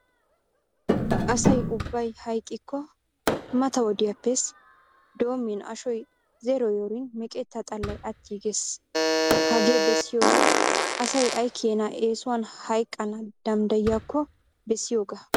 Asa ubbay hayqqiko mata wodiyaapps doominneashoy zeeroyoorin meqqeta xallay attiigees. Hagee bessiyoogee asay ay keena eessuwan hayqqana damddayiyyako bessiyooga .